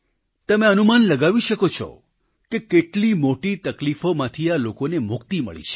તમે અનુમાન લગાવી શકો છો કે કેટલી મોટી તકલીફોમાંથી આ લોકોને મુક્તિ મળી છે